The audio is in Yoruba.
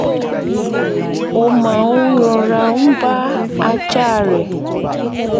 ó máa ń rọra ń bá ajá rẹ̀